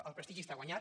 el prestigi està guanyat